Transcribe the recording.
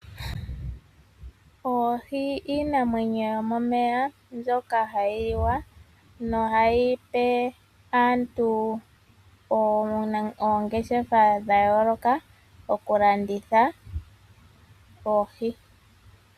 Oohi iinamwenyo yomomeya mbyoka hayi liwa, nohayi pe aantu oongeshefa dha yooloka okulanditha oohi.